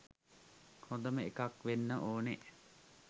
හොඳම එකක් වෙන්න ඕනෙ